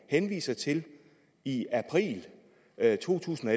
henviser til i april to tusind og